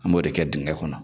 An b'o de kɛ dengɛ kɔnɔ